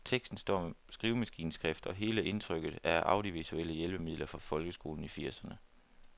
Teksten står med skrivemaskineskrift, og hele indtrykket er af audiovisuelle hjælpemidler fra folkeskolen i firserne.